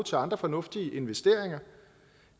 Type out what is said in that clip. til andre fornuftige investeringer